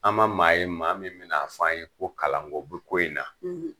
An ma maa ye maa min min n' a f' a ye ko kalanko bɛ ko in na.